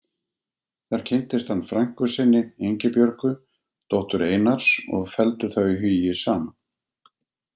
Þar kynntist hann frænku sinni, Ingibjörgu, dóttur Einars og felldu þau hugi saman.